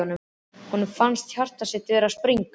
Honum fannst hjarta sitt vera að springa.